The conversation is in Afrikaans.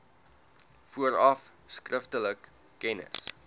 vooraf skriftelik kennis